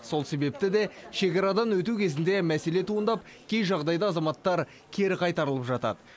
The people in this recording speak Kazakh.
сол себепті де шекарадан өту кезінде мәселе туындап кей жағдайда азаматтар кері қайтарылып жатады